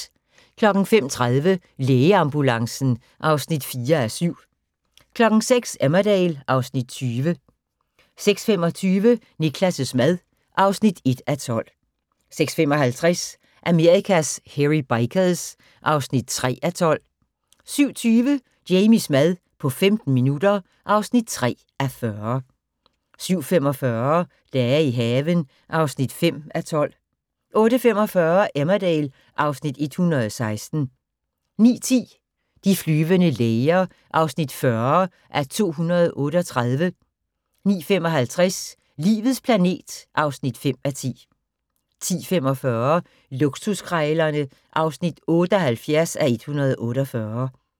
05:30: Lægeambulancen (4:7) 06:00: Emmerdale (Afs. 20) 06:25: Niklas' mad (1:12) 06:55: Amerikas Hairy Bikers (3:12) 07:20: Jamies mad på 15 minutter (3:40) 07:45: Dage i haven (5:12) 08:45: Emmerdale (Afs. 116) 09:10: De flyvende læger (40:238) 09:55: Livets planet (5:10) 10:45: Luksuskrejlerne (78:148)